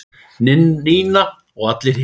Nína og allir hinir.